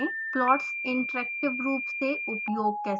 plots interactive रूप से उपयोग कैसे करें